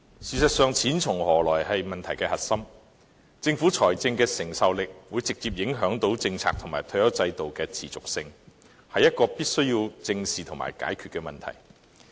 事實上，"錢從何來"是問題的核心，政府財政的能力會直接影響政策及退休制度的持續性，這是必須要正視和解決的問題。